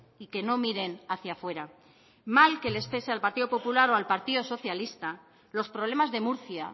y que no miren hacia fuera mal que les pese al partido popular o al partido socialista los problemas de murcia